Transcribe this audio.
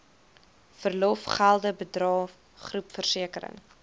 verlofgelde bydrae groepversekering